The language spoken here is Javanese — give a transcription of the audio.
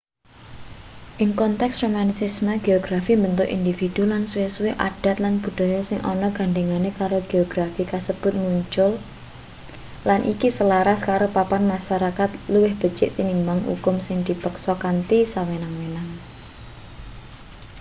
ing konteks romantisisme geografi mbentuk individu lan suwe-suwe adat lan budaya sing ana gandhengane karo geografi kasebut muncul lan iki selaras karo papan masarakat luwih becik tinimbang ukum sing dipeksa kanthi sewenang-wenang